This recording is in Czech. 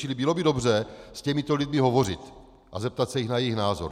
Čili bylo by dobře s těmito lidmi hovořit a zeptat se jich na jejich názor.